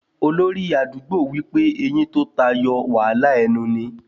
Olórí àdúgbò wí pé eyín tó tayọ wàhálà ẹnu ni